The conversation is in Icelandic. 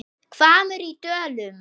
HVAMMUR Í DÖLUM